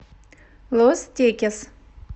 лос текес